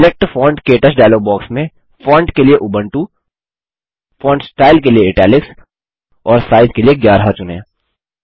select font - क्टच dialogue box में font के लिए उबुंटू फोंट स्टाइल के लिए इटालिक्स और साइज के लिए 11 चुनें